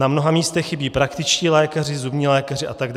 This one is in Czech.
Na mnoha místech chybí praktičtí lékaři, zubní lékaři atd.